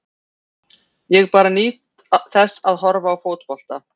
Ég bara nýt þess að horfa á fótbolta.